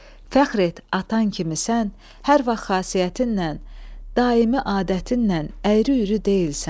Fəxr et atan kimisən, hər vaxt xasiyyətinlə, daimi adətinlə əyri-üyrü deyilsən.